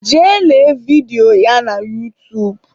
Jee lee vidio ya n'utuub